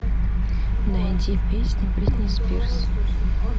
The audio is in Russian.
найди песню бритни спирс